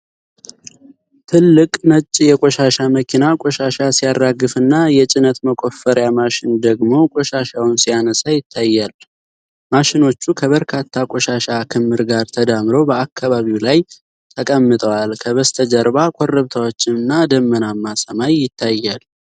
ትልቅ ነጭ የቆሻሻ መኪና ቆሻሻ ሲያራግፍና የጭነት መቆፈሪያ ማሽን ደግሞ ቆሻሻውን ሲያነሳ ይታያል። ማሽኖቹ ከበርካታ ቆሻሻ ክምር ጋር ተዳምረው በአካባቢው ላይ ተቀምጠዋል። ከበስተጀርባ ኮረብታዎችና ደመናማ ሰማይ ይታያል።